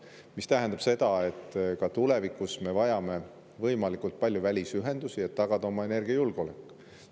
See tähendab, et ka tulevikus me vajame võimalikult palju välisühendusi, et tagada oma energiajulgeolek.